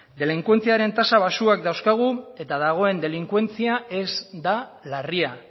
delinkuentzia tasa bajuak dauzkagu eta dagoen delinkuentzia ez da larria